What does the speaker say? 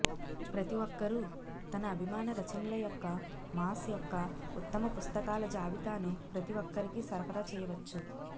ప్రతి ఒక్కరూ తన అభిమాన రచనల యొక్క మాస్ యొక్క ఉత్తమ పుస్తకాల జాబితాను ప్రతి ఒక్కరికి సరఫరా చేయవచ్చు